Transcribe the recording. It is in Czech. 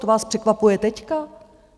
To vás překvapuje teď?